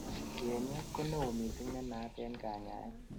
yenyet ko neo missing nenaat en kanyaet